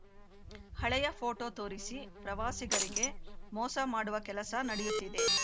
ಹಳೆಯ ಪೋಟೋ ತೋರಿಸಿ ಪ್ರವಾಸಿಗರಿಗೆ ಮೋಸ ಮಾಡುವ ಕೆಲಸ ನಡೆಯುತ್ತಿದೆ